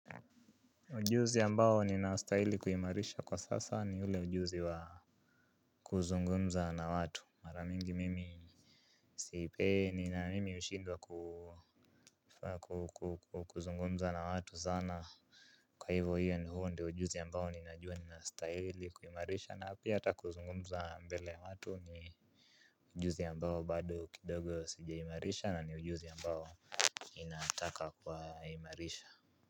Ujuzi yambao ni na ustahili kuhimarisha kwa sasa ni ule ujuzi wa kuzungumza na watu maramingi mimi. Sipendi na mimi ushindwa ku kuzungumza na watu zana. Kwa hivyo hiyo ndi huo ndi ujuzi yambao ni najua ni na ustahili kuhimarisha na api hata kuzungumza mbele ya watu ni ujuzi yambao bado kidogo si jaimarisha na ni ujuzi yambao ninataka kwa imarisha.